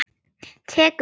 Tekur því?